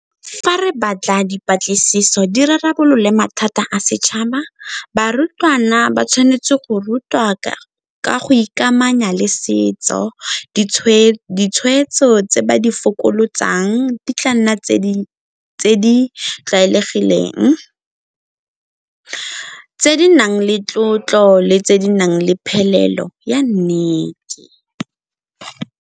Fa re batla dipatlisiso di rarabolole mathata a setšhaba, barutwana ba tshwanetse go rutwa ka go ikamanya le setso ditshweetso tse ba di di tla nna tse di tlwaelegileng, tse di nang le tlotlo le tse di nang le phelelo ya nnete.